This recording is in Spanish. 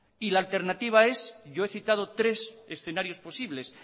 y la alternativa es yo he citado tres escenarios posibles